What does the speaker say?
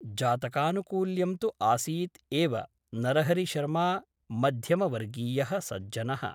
जातकानुकूल्यं तु आसीत् एव नरहरिशर्मा मध्यमवर्गीयः सज्जनः ।